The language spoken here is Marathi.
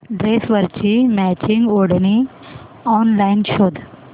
ड्रेसवरची मॅचिंग ओढणी ऑनलाइन शोध